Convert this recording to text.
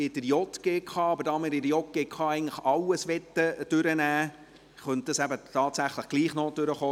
Da wir aber bei der JGK eigentlich alles dran-nehmen möchten, könnte dies eben tatsächlich doch noch drankommen.